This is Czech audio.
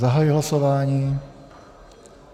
Zahajuji hlasování.